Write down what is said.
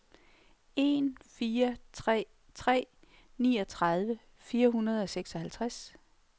en fire tre tre niogtredive fire hundrede og seksoghalvtreds